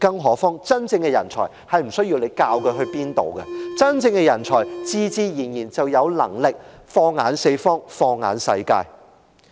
何況，真正的人才並不需要政府教他往哪處去，真正的人才自然有能力放眼四方、放眼世界。